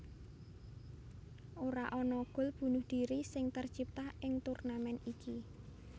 Ora ada gol bunuh diri sing tercipta ing turnamèn iki